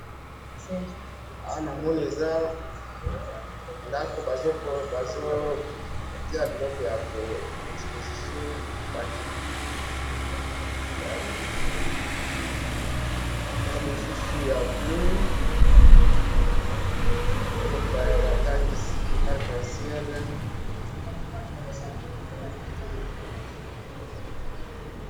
awa namoni eza ndaku bazo bazo tiya biloko ya exposition ya rouge na mosusu ya bleu he batangisi he na arc en ciel.